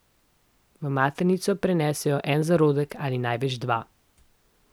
V maternico prenesejo en zarodek ali največ dva.